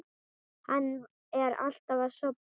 Hann er alltaf að sofna.